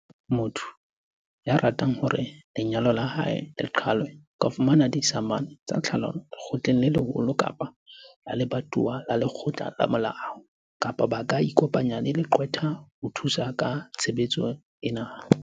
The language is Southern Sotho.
"Motho ya ratang hore lenyalo la hae le qhalwe a ka fumana disamane tsa tlhalano lekgotleng le leholo kapa la lebatowa la lekgotla la molao, kapa ba ka ikopanya le leqwetha ho thusa ka tshebetso ena."